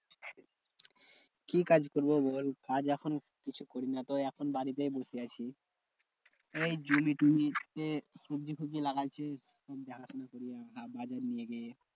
কি কাজ করবো বল? কাজ এখন কিছু করি না তো এখন বাড়িতেই বসে আছি। এই জমি টমি এই সবজি ফবজি লাগাইছি, আমি দেখাশোনা করি আমাদের নিজের।